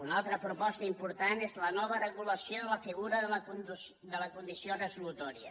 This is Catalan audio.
una altra proposta important és la nova regulació de la figura de la condició resolutòria